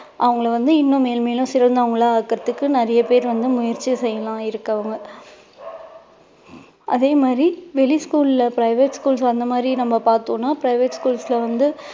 அவங்களை வந்து இன்னும் மேல்மேலும் சிறந்தவர்களா ஆக்குறதுக்கு நிறைய பேர் வந்து முயற்சி செய்யலாம் இருக்கவங்க அதே மாதிரி வெளி school ல private schools அந்த மாதிரி நம்ம பார்த்தோம்னா private schools ல வந்து